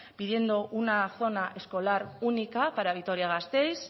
pidiendo una zona escolar única para vitoria gasteiz